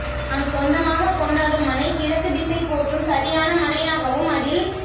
நாம் சொந்தமாகக் கொண்டாடும் மனை கிழக்கு திசை போற்றும் சரியான மனையாகவும் அதில்